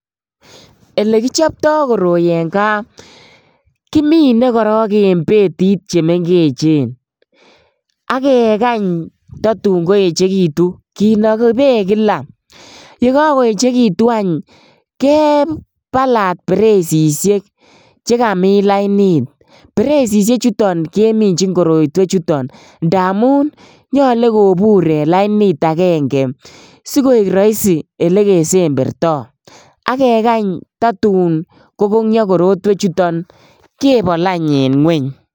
Elekichopto koroi en kaa kimine korong en betit chemengechen ak kekany totun koyechekitun kinoki beek kila, yekokoechekitun any kebalat bereisishek chekamin lainit, bereisishe chuton keminjin korotwe chuton ndamun nyolu kobur en lainit akenge sikoik roisi elekesemberto ak kekany totun kokongyo tukuchuton kebol any en ngweny.